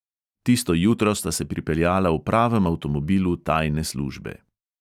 Tisto jutro sta se pripeljala v pravem avtomobilu tajne službe.